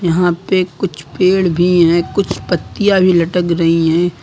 यहां पे कुछ पेड़ भी हैं कुछ पत्तियां भी लटक रही हैं।